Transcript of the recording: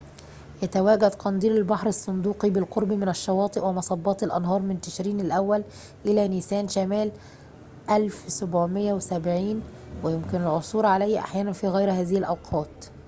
يتواجد قنديل البحر الصندوقي بالقرب من الشواطئ ومصبات الأنهار من تشرين الأول إلى نيسان شمال 1770 ويمكن العثور عليه أحياناً في غير هذه الأوقات